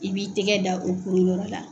I b'i tɛgɛ da o kuruyɔrɔ la